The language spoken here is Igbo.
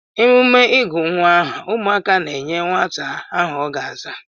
Emume ịgụ nwa aha ụmụaka na-enye nwata aha ọ ga-aza.